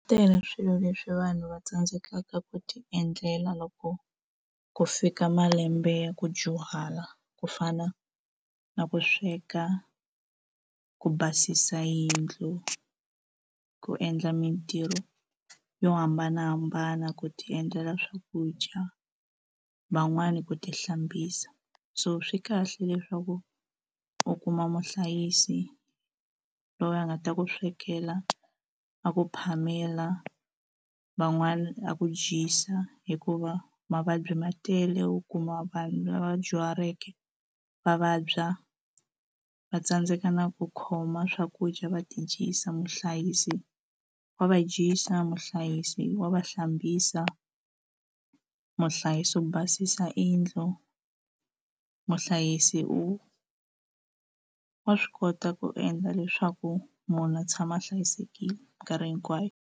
tele swilo leswi vanhu va tsandzekaka ku ti endlela loko ku fika malembe ya ku dyuhala ku fana na ku sweka ku basisa yindlu ku endla mitirho yo hambanahambana ku ti endlela swakudya van'wani ku ti hlambisa so swi kahle leswaku u kuma muhlayisi loyi a nga ta ku swekela a ku phamela van'wana ku dyisa hikuva mavabyi ma tele u kuma vanhu lava dyuhaleke va vabya va tsandzeka na ku khoma swakudya va ti dyisa muhlayisi wa va dyisa muhlayisi wa va hlambisa muhlayisi u basisa yindlu muhlayisi u wa swi kota ku endla leswaku munhu a tshama a hlayisekile mikarhi hinkwayo.